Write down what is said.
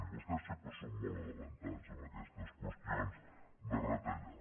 vostès sempre són molt avançats en aquestes qüestions de retallar